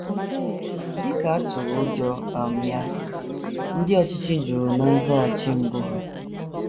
Dị ka a tụrụ ụjọ um ya, ndị ọchịchị jụrụ ná nzaghachi mbụ ha.